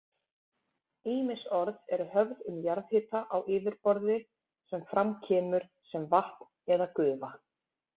Ýmis orð eru höfð um jarðhita á yfirborði sem fram kemur sem vatn eða gufa.